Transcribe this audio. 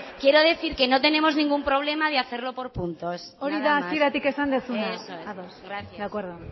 quiero decir que no tenemos ningún problema de hacerlo por puntos nada más hori da hasieratik esan duzuna eso es ados de acuerdo